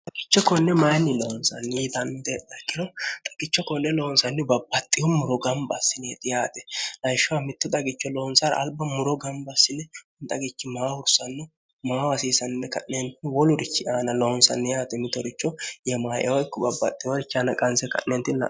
xagicho konne mayinni loonsanni itammitee dakkiro xaqicho konne loonsanni babbaxxihu muro gamba assineexi yaate layishshoha mittu xagicho loonsara alba muro gamba sile nxagichi maa hursanno maa hasiisanne ka'neenni wolurichi aana loonsanni yaate mitoricho yemaieyo ikko babbaxxihorichi aana qanse ka'neentinno